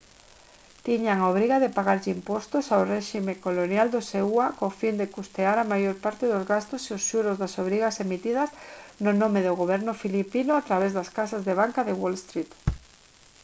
tiñan a obriga de pagarlle impostos ao réxime colonial dos eua co fin de custear a maior parte dos gastos e os xuros das obrigas emitidas no nome do goberno filipino a través das casas de banca de wall street